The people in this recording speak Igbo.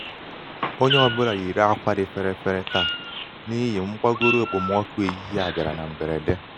onye ọ bụla yiiri ákwà dị ferefere taa n'ihi mgbagoro okpomọkụ ehihie a bịara na mgberede.